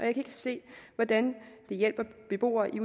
ikke se hvordan det hjælper beboere i